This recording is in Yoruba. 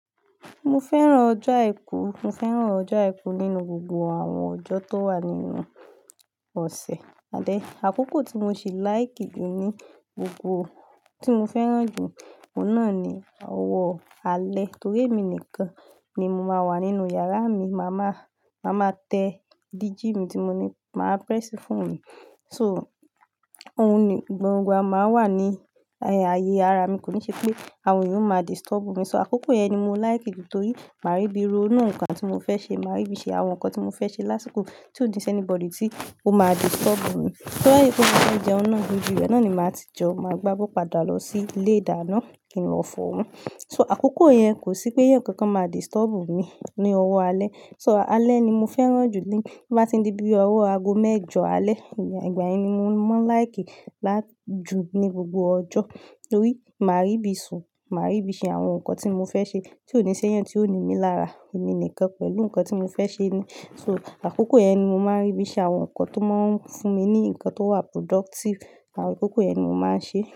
Mo fẹ́ràn ọjọ́ àìkú. Mo fẹ́ràn ọjọ́ àìkú nínú gbogbo àwọn ọjọ́ tó wà nínú ọ̀sẹ̀. And then, àkókò tí mo ṣì like jù ní gbogbo, tí mo fẹ́ràn jù, òun náà ni ọwọ́ alẹ́. Torí èmi nìkan ni mo máa wà nínú yàrá mi. Máa ma, màá ma tẹ diji mi tí mo ní, màá press fóònù. So, òun ni gbogbo a máa wà ní ayé ara mi. Kò ní ṣe pé àwọn ènìyàn máa disturb mi. So àkókò yẹn ni mo like jù nítorí màá rí bí i ro inú nǹkan tí mo fẹ́ ṣe, màá rí bí i ṣe àwọn nǹkan tí mo fẹ́ ṣe lásìkò tí ó de sẹ́ anybody tí ó máa disturb mi. Tó bá dẹ̀ jẹ́ pé mofẹ́ jẹun náà, ibi ibẹ̀ náà ni màá ti jẹun, màá gbá bó padà lọ sí ilé ìdáná kí n lọ fọ́. So àkókò yẹn kò sí pé ẹ̀yàn kankan máa disturb mi ní ọwọ́ alẹ́. So alẹ́ ni mo fẹ́ràn jù bí bà ti n di bí i ọwọ́ ago mẹ́jọ alẹ́, ìgbà yẹn ni mo máa ń like jù ní gbogbo ọjọ́. Torí màá rí bí i sùn, màá rí bí i ṣe àwọn nǹkan tí mo fẹ́ ṣe tí ó ní ṣe ẹ̀yán tí ó ní mi lára. Èmi nìkan pẹ̀lú nǹkan tí mo fẹ́ ṣe ni. So àkókò yẹn ni mo máa ń rí bí i ṣe àwọn nǹkan tó máa ń fún mi ní nǹkan tó wà productive. Àwọn àkókò yẹn ni mo máa ń ṣe.